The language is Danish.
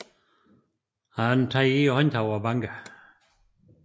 Han tager i håndtaget og banker